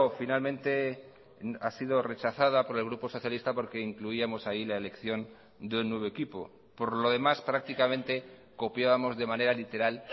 finalmente ha sido rechazada por el grupo socialista porque incluíamos ahí la elección de un nuevo equipo por lo demás prácticamente copiábamos de manera literal